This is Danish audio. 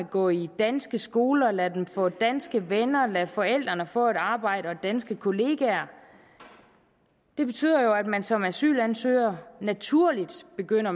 gå i danske skoler lade dem få danske venner og lade forældrene få et arbejde og danske kollegaer det betyder jo at man som asylansøger naturligt begynder